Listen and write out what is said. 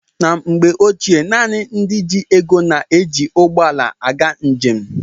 Na mgbe ochie, naanị ndị ji ego na-eji ụgbọala aga njem.